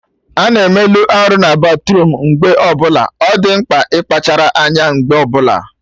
Ana emelụ arụ na batruum mgbe ọbụla, ọ dị mkpa ịkpachara anya mgbe ọbụla